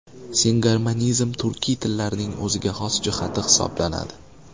Singarmonizm turkiy tillarning o‘ziga xos jihati hisoblanadi.